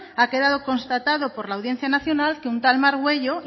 ha quedado constatado por la audiencia nacional que un tal margüello